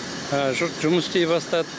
жұрт жұмыс істей бастады